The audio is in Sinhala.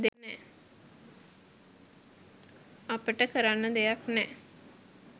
අපට කරන්න දෙයක් නෑ